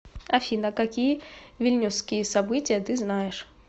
афина какие вильнюсские события ты знаешь